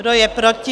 Kdo je proti?